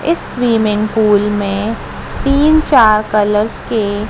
इस swimming pool में तीन चार कलर्स के--